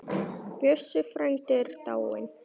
Bjössi frændi er dáinn.